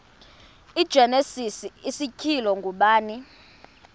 igenesis isityhilelo ngubani